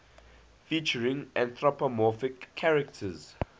featuring anthropomorphic characters